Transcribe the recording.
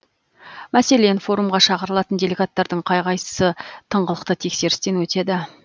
мәселен форумға шақырылатын делегаттардың қай қайсы тыңғылықты тексерістен өтеді